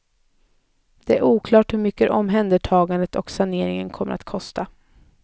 Det är oklart hur mycket omhändertagandet och saneringen kommer att kosta.